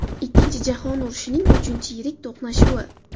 Ikkinchi jahon urushining uchinchi yirik to‘qnashuvi.